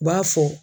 U b'a fɔ